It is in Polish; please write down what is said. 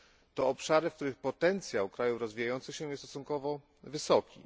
To obszary, w których potencjał krajów rozwijających się jest stosunkowo wysoki.